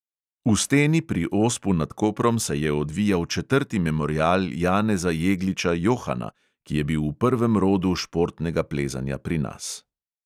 V steni pri ospu nad koprom se je odvijal četrti memorial janeza jegliča – johana, ki je bil v prvem rodu športnega plezanja pri nas.